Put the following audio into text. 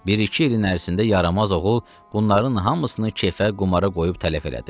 Bir-iki ilin ərzində yaramaz oğul bunların hamısını keyfə, qumara qoyub tələf elədi.